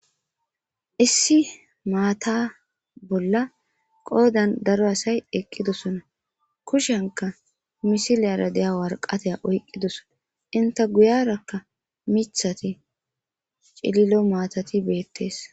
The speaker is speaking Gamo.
Issi matha bolla qodan daro asayi eqidosona kushenka misilera diya woraqata oyikidosona inte guyiyaraka mithathi ci'lilo mathati betees